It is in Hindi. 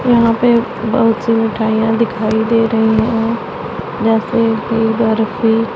यहां पे बहोत सी मिठाइयां दिखाई दे रही है जैसे की बर्फी--